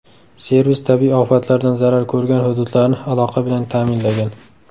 Servis tabiiy ofatlardan zarar ko‘rgan hududlarni aloqa bilan ta’minlagan.